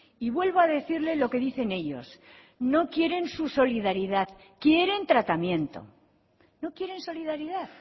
y vuelvo a decirle lo que dicen ellos no quieren su solidaridad quieren tratamiento no quieren solidaridad